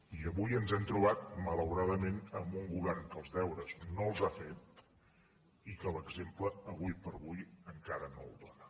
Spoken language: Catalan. i avui ens hem trobat malauradament amb un govern que els deures no els ha fet i que l’exemple avui per avui encara no el dóna